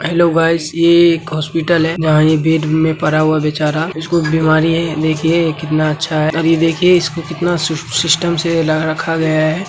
Hello guys यह एक hospital है जहां बेड में ये पड़ा हुआ बेचारा उसको बीमारी है देखिए कितना अच्छा है ये देखिए इसको कितना सिस्टम से रखा गया है।